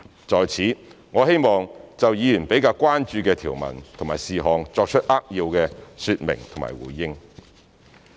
在此，我希望就議員比較關注的條文和事項作出扼要說明和回應。